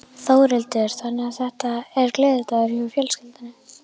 Þórhildur: Þannig að þetta er gleðidagur hjá fjölskyldunni?